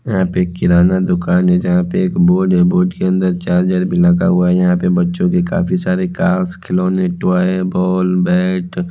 यह पिक किराना दुकान है यहां पे एक बोर्ड है बोर्ड के अंदर चार्जर भी लगा हुआ यहां पे बच्चों के काफी सारे कार्स खिलौने टॉय बॉल बैट ।